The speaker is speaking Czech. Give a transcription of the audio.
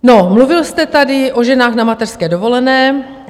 No, mluvil jste tady o ženách na mateřské dovolené.